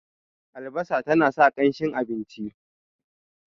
albasa tana sa kanshin abinci